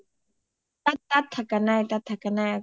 তাত থাকা নাই তাত থাকা নাই